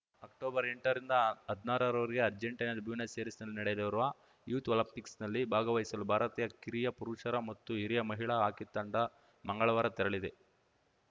ಅಕ್ಟೊಬರ್ಎಂಟ ರಿಂದ ಹದ್ನಾರರವರೆಗೆ ಅರ್ಜೆಂಟೀನಾದ ಬ್ಯೂನಸ್‌ ಏರೀಸ್‌ನಲ್ಲಿ ನಡೆಯಲಿರುವ ಯೂತ್‌ ಒಲಿಂಪಿಕ್ಸ್‌ನಲ್ಲಿ ಭಾಗವಹಿಸಲು ಭಾರತೀಯ ಕಿರಿಯ ಪುರುಷರ ಮತ್ತು ಹಿರಿಯ ಮಹಿಳಾ ಹಾಕಿ ತಂಡ ಮಂಗಳವಾರ ತೆರಳಿದೆ